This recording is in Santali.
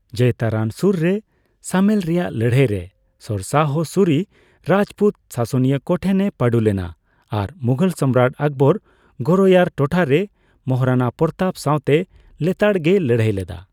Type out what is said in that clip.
ᱡᱚᱭᱛᱟᱨᱟᱱ ᱥᱳᱨᱨᱮ ᱥᱟᱢᱮᱞ ᱨᱮᱭᱟᱜ ᱞᱟᱹᱲᱦᱟᱹᱭ ᱨᱮ ᱥᱮᱨᱥᱟᱦᱚ ᱥᱩᱨᱤ ᱨᱟᱡᱽᱯᱩᱛ ᱥᱟᱥᱚᱱᱤᱭᱟᱹ ᱠᱚ ᱴᱷᱮᱱᱮ ᱯᱟᱸᱰᱩ ᱞᱮᱱᱟ ᱟᱨ ᱢᱩᱜᱷᱚᱞ ᱥᱚᱢᱨᱟᱴ ᱟᱠᱵᱚᱨ ᱜᱳᱨᱚᱭᱟᱨ ᱴᱚᱴᱷᱟᱨᱮ ᱢᱚᱦᱟᱨᱟᱱᱟ ᱯᱚᱨᱚᱛᱟᱯ ᱥᱟᱣᱛᱮ ᱞᱮᱛᱟᱲᱜᱮᱭ ᱞᱟᱹᱲᱦᱟᱹᱭ ᱞᱮᱫᱟ ᱾